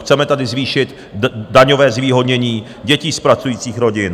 Chceme tady zvýšit daňové zvýhodnění dětí z pracujících rodin.